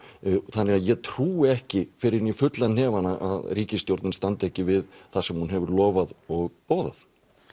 þannig ég trúi ekki fyrr en í fulla hnefana að ríkisstjórnin standi ekki við það sem hún hefur lofað og boðað